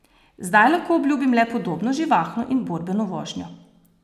Zdaj lahko obljubim le podobno živahno in borbeno vožnjo.